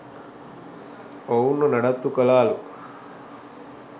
ඔවුන් ව නඩත්තු කලා ලු.